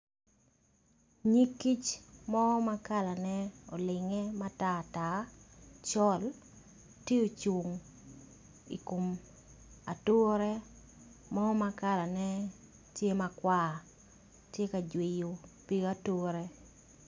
Nyig kic mo makala ne olinge matar tar col tye ocung ikom ature mo makala ne tye makwar tye ka jwiyo pig ature.